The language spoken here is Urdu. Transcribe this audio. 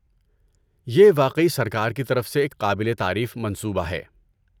یہ واقعی سرکار کی طرف سے ایک قابل تعریف منصوبہ ہے۔